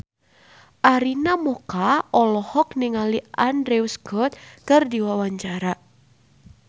Arina Mocca olohok ningali Andrew Scott keur diwawancara